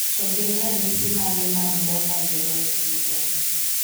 To gin ranyisi mage mag Baller Gerold syndrome?